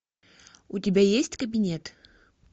у тебя есть кабинет